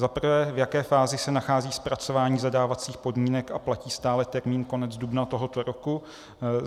Za prvé, v jaké fázi se nachází zpracování zadávacích podmínek a platí stále termín konec dubna tohoto roku?